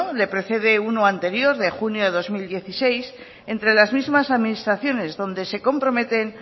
le precede uno anterior de junio de dos mil dieciséis entre las mismas administraciones donde se comprometen